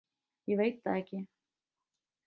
ég veit það ekki.